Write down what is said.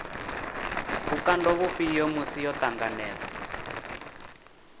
vhukando vhufhio musi yo ṱanganedza